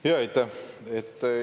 Aitäh!